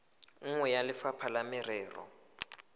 nngwe ya lefapha la merero